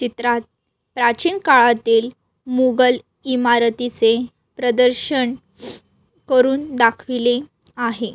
चित्रात प्राचीन काळातील मुगल इमारतीचे प्रदर्शन करुन दाखविले आहे.